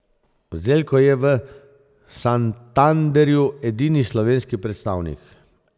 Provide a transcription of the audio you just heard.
Zelko je v Santanderju edini slovenski predstavnik.